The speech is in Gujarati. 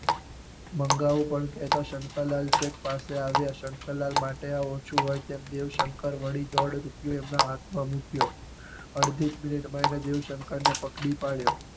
મંગાવું પણ કેહતા શંકર લાલ છેક પાસે આવ્યા. શંકર લાલ માટે આ ઓછું હોય તેમ દેવ શંકર વળી દોઢ રૂપિયો એમના હાથ માં મૂક્યો. અડધી જ પ્લેટ માં એને દેવ શંકર ને પકડી પાડ્યો.